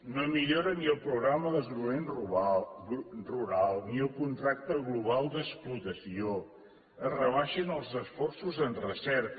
no milloren ni el programa de desenvolupament rural ni el contracte global d’explotació es rebaixen els esforços en recerca